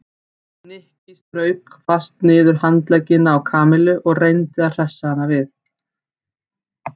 Nikki strauk fast niður handleggina á Kamillu og reyndi að hressa hana við.